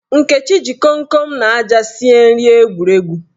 Nkechi ji komkom na aja sie nri egwuregwu.